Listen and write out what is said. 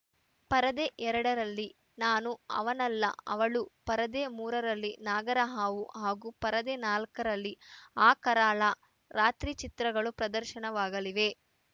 ಪರದೆ ಎರಡರಲ್ಲಿ ನಾನು ಅವನಲ್ಲ ಅವಳು ಪರದೆ ಮೂರ ರಲ್ಲಿ ನಾಗರಹಾವು ಹಾಗೂ ಪರದೆ ನಾಲ್ಕ ರಲ್ಲಿ ಆ ಕರಾಳ ರಾತ್ರಿ ಚಿತ್ರಗಳು ಪ್ರದರ್ಶನವಾಗಲಿವೆ